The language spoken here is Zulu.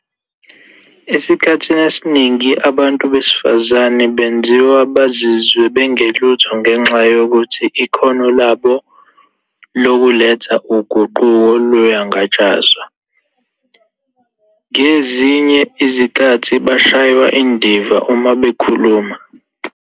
"Esikhathini esiningi, abantu besifazane benziwa bazizwe bengelutho ngenxa yokuthi ikhono labo lokuletha uguquko luyangatshazwa. Ngezinye izikhathi bashaywa indiva uma bekhuluma."